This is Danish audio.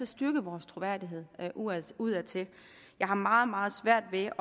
styrke vores troværdighed udadtil udadtil jeg har meget meget svært ved